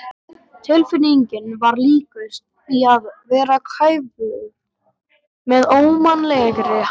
Tilfinningin var líkust því að vera kæfður með ómannlegri hægð.